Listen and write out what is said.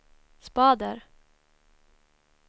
spader